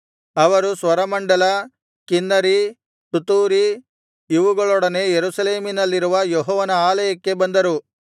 ಅವರು ಸ್ವರಮಂಡಲ ಕಿನ್ನರಿ ತುತ್ತೂರಿ ಇವುಗಳೊಡನೆ ಯೆರೂಸಲೇಮಿನಲ್ಲಿರುವ ಯೆಹೋವನ ಆಲಯಕ್ಕೆ ಬಂದರು